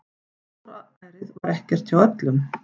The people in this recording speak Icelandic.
Góðærið var ekkert hjá öllum.